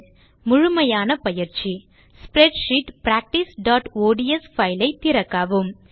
முழுமையான பயிற்சி ஸ்ப்ரெட்ஷீட் practiceஒட்ஸ் பைல் ஐ திறக்கவும்